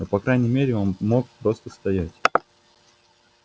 но по крайней мере он мог просто стоять